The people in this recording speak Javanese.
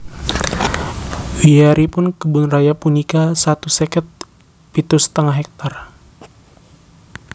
Wiyaripun Kebun Raya punika satus seket pitu setengah hektar